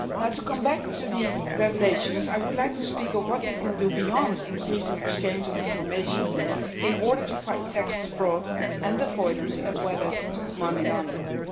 To come back to the revelations, I would like to speak of what we can do beyond increasing the exchange of information in order to fight tax fraud and avoidance, as well as money laundering.